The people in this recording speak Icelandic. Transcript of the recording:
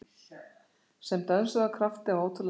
Sem dönsuðu af krafti- af ótrúlegri færni